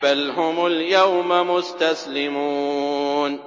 بَلْ هُمُ الْيَوْمَ مُسْتَسْلِمُونَ